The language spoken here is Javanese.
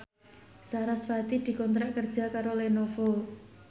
sarasvati dikontrak kerja karo Lenovo